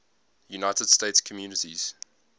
united states communities